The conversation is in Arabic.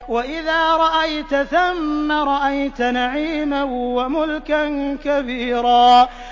وَإِذَا رَأَيْتَ ثَمَّ رَأَيْتَ نَعِيمًا وَمُلْكًا كَبِيرًا